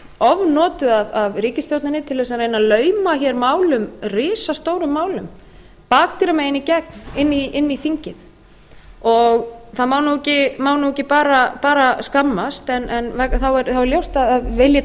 ofnotuð ofnotuð af ríkisstjórninni til þess að reyna að lauma hér málum risastórum málum bakdyramegin í gegn inn í þingið það má nú ekki bara skammast en þá er ljóst að vil ég